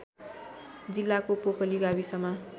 जिल्लाको पोकली गाविसमा